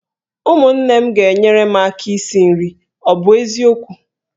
Ụmụnne m ga-enyere m aka esi nri, ọ bụ eziokwu?